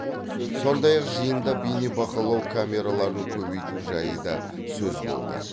сондай ақ жиында бейнебақылау камераларын көбейту жайы да сөз болды